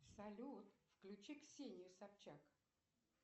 салют включи ксению собчак